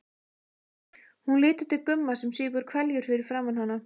Hún lítur til Gumma sem sýpur hveljur fyrir framan hana.